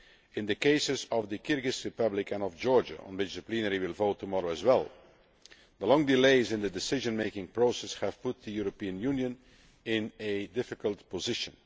In the cases of the Kyrgyz Republic and of Georgia on which the plenary will vote tomorrow as well the long delays in the decision making process have put the European Union in a difficult position.